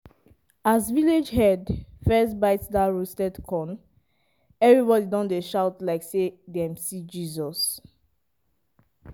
as village head first bite dat roasted corn everybody don dey shout like say dem see jesus.